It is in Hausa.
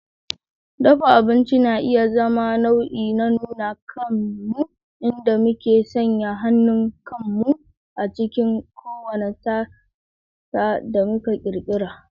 Dafa abinci na iya zama nau'i na nuna kanmu, inda muke sanya hannun kanmu akan kowane tasa da muka ƙirƙira.